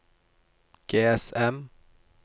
GSM